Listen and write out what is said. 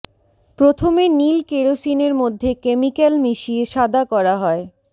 প্রথমে নীল কেরোসিনের মধ্যে কেমিক্যাল মিশিয়ে সাদা করা হয়